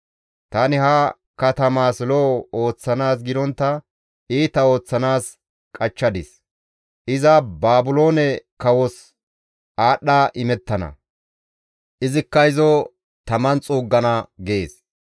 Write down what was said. Tani ha katamaas lo7o ooththanaas gidontta iita ooththanaas qachchadis; iza Baabiloone kawos aadhdha imettana; izikka izo taman xuuggana› gees.